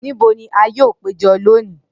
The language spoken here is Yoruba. Nibo ni a yoo pejọ loni?